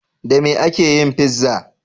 Da me ake yin fizza?